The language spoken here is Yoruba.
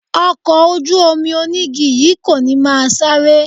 Ọkọ̀ ojú-omi onígi yìí kò ní máa sáré